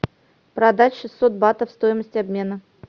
продать шестьсот батов стоимость обмена